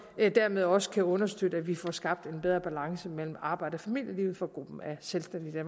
dermed også understøtte at vi får skabt en bedre balance mellem arbejds og familieliv for gruppen af selvstændige i